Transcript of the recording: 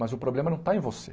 Mas o problema não está em você.